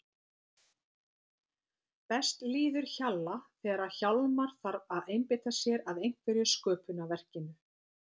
Best líður Hjalla þegar Hjálmar þarf að einbeita sér að einhverju sköpunarverkinu.